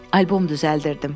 Albom düzəldirdim.